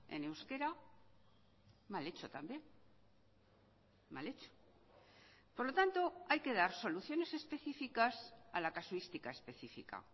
en euskera mal hecho también mal hecho por lo tanto hay que dar soluciones específicas a la casuística específica